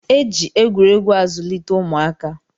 E ji egwuregwu azụlite ụmụaka